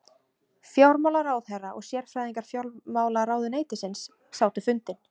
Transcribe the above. Fjármálaráðherra og sérfræðingar fjármálaráðuneytisins sátu fundinn